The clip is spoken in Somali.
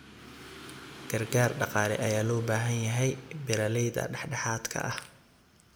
Gargaar dhaqaale ayaa loo baahan yahay beeralayda dhexdhexaadka ah.